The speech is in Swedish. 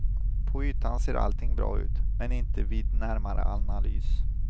På ytan ser allting bra ut, men inte vid närmare analys.